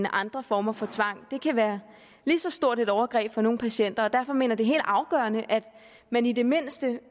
andre former for tvang det kan være lige så stort et overgreb for nogle patienter og derfor mener det helt afgørende at man i det mindste